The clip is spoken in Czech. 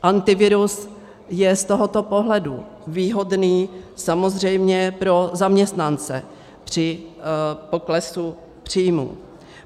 Antivirus je z tohoto pohledu výhodný samozřejmě pro zaměstnance při poklesu příjmů.